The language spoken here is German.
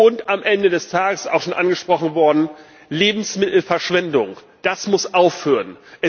Und am Ende des Tages das ist auch schon angesprochen worden Lebensmittelverschwendung Das muss aufhören.